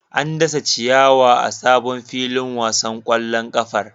An dasa ciyawa a sabon filin wasan kwallon kafar.